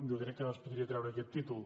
jo crec que ara es podria treure aquest títol